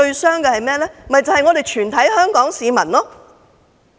是全體香港市民。